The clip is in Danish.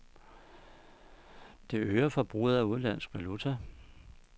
Det øger forbruget af udenlandsk valuta.